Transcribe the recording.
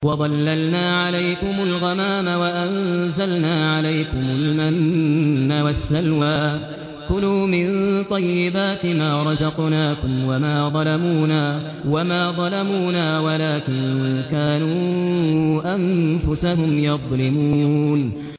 وَظَلَّلْنَا عَلَيْكُمُ الْغَمَامَ وَأَنزَلْنَا عَلَيْكُمُ الْمَنَّ وَالسَّلْوَىٰ ۖ كُلُوا مِن طَيِّبَاتِ مَا رَزَقْنَاكُمْ ۖ وَمَا ظَلَمُونَا وَلَٰكِن كَانُوا أَنفُسَهُمْ يَظْلِمُونَ